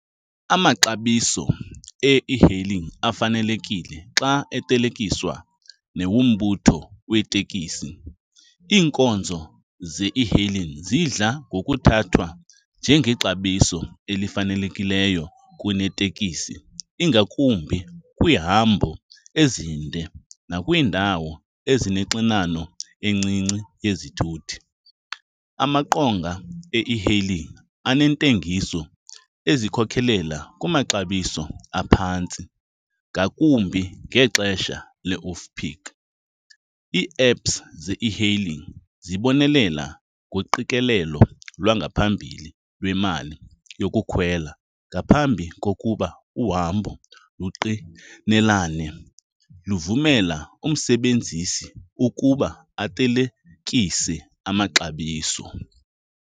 Amaxabiso e-e-hailing afanelekile xa ethelekiswa nawombutho weeteksi. Iinkonzo ze-e-hailing zidla ngokuthathwa njengexabiso elifanelekileyo kuneteksi ingakumbi kwiihambo ezinde nakwiindawo ezinoxinano encinci yezithuthi. Amaqonga e-e-hailing anentengiso ezikhokhelela kumaxabiso aphantsi ngakumbi ngexesha le-off peak. Ii-apps ze-e-hailing zibonelela ngoqikelelo lwangaphambili lwemali yokukhwela ngaphambi kokuba uhambo luqinelane, luvumela umsebenzisi ukuba athelekise amaxabiso.